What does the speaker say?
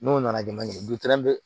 N'o nana jama ye